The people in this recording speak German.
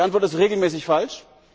Die Antwort ist regelmäßig falsch.